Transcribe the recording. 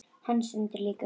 Hann stendur líka upp.